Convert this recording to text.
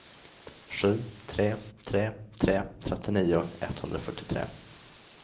sju tre tre tre trettionio etthundrafyrtiotre